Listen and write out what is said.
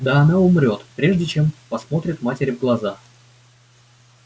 да она умрёт прежде чем посмотрит матери в глаза